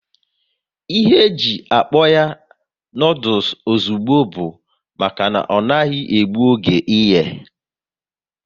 Ihe e ji akpọ ya noodules ozugbo bụ maka na ọ naghị egbu oge ịye